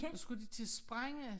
Så skulle de til at sprænge